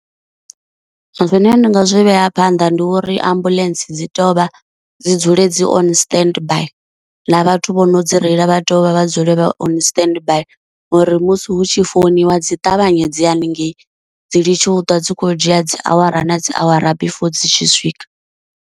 Zwine nda nga zwi vhea phanḓa ndi uri ambuḽentse dzi tovha dzi dzule dzi on standby, na vhathu vho no dzi reila vha tea uvha vha dzule vha on standby, ngori musi hu tshi founiwa dzi ṱavhanye dziye haningei dzi litshiwe u ṱwa dzi khou dzhia dzi awara na dzi awara before dzi tshi swika.